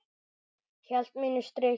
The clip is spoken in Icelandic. Hélt mínu striki.